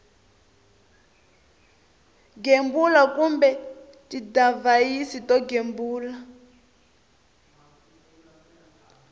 gembula kumbe tidivhayisi to gembula